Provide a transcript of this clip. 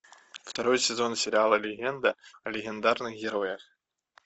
второй сезон сериала легенда о легендарных героях